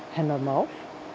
hennar mál